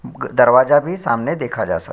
ग़ दरवाजा भी सामाने देखा जा सक --